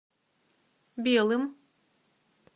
белым